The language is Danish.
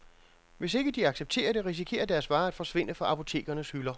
Hvis ikke de accepterer det, risikerer deres varer at forsvinde fra apotekernes hylder.